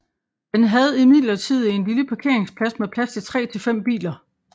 Den havde imidlertid en lille parkeringsplads med plads til tre til fem biler